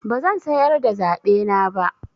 Bazan sayar da zaɓena ba.